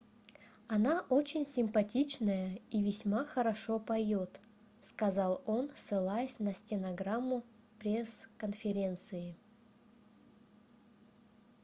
она очень симпатичная и весьма хорошо поёт - сказал он ссылаясь на стенограмму пресс-конференции